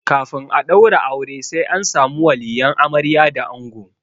Kafin a ɗaura aure sai an samu waliyan amarya da ango.